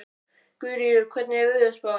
Guðríður, hvernig er veðurspáin?